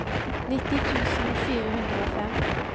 nitti tusen fire hundre og fem